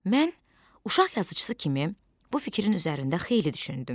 Mən uşaq yazıçısı kimi bu fikrin üzərində xeyli düşündüm.